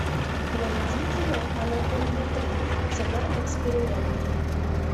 найди кино анаконда три цена эксперимента